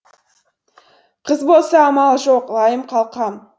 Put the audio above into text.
қыз болса амал жоқ лайым қалқам